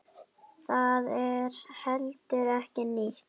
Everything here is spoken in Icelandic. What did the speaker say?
Það er heldur ekki nýtt.